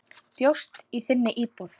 Bjóst í þinni íbúð.